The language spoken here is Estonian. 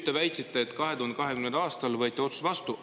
" Te väitsite, et 2020. aastal võeti see otsus vastu.